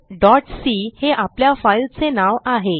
scopeसी हे आपल्या फाईलचे नाव आहे